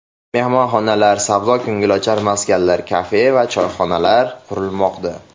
Mehmonxonalar, savdo-ko‘ngilochar maskanlar, kafe va choyxonalar qurilmoqda.